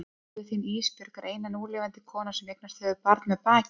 Móðir þín Ísbjörg er eina núlifandi konan sem eignast hefur barn með bakinu.